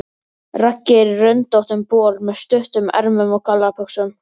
Raggi er í röndóttum bol með stuttum ermum og gallabuxum.